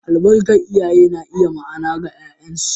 Albarkar iyaye na iya ma’ana ga ’ya’yansu.